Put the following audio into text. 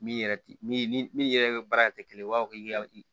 Min yɛrɛ ti min ni min yɛrɛ baara tɛ kelen ye u b'a fɔ k'i ka